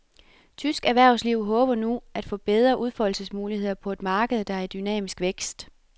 Tysk erhvervsliv håber nu at få bedre udfoldelsesmuligheder på et marked, der er i dynamisk vækst.